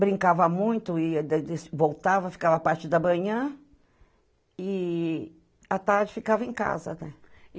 Brincava muito, e dai voltava, ficava a partir da manhã e à tarde ficava em casa, né?